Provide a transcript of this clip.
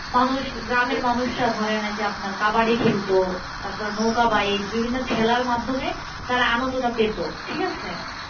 মানুষ গ্রামের মানুষরা ধরেন এই যে আপনার কাবাডি খেলতো তারপর নৌকা বাইচ বিভিন্ন খেলের মাধ্যমে তারা আনন্দটা পেত ঠিক আছে?